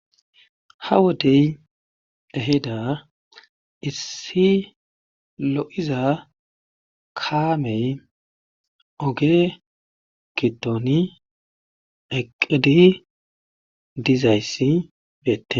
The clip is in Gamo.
Ha wodey ehida issi lo7iza kaamey oge giddoni eqqqid dizayssi beettee.